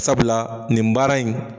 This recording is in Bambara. Sabula nin baara in